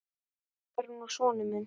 Hann er nú sonur minn.